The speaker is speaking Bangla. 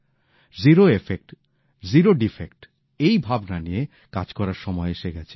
জিরো এফেক্ট জিরো ডীফেক্ট এই ভাবনা নিয়ে কাজ করার সময় এসে গেছে